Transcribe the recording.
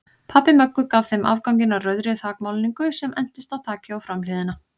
Pabbi Möggu gaf þeim afganginn af rauðri þakmálningu sem entist á þakið og framhliðina.